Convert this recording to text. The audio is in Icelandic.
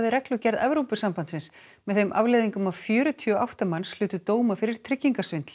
reglugerð Evrópusambandsins með þeim afleiðingum að fjörutíu og átta manns hlutu dóma fyrir